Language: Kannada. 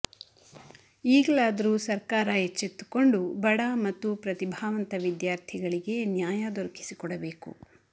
ಈಗಲಾದರೂ ಸರ್ಕಾರ ಎಚ್ಚೆತ್ತುಕೊಂಡು ಬಡ ಮತ್ತು ಪ್ರತಿಭಾವಂತ ವಿದ್ಯಾರ್ಥಿಗಳಿಗೆ ನ್ಯಾಯ ದೊರಕಿಸಿಕೊಡಬೇಕು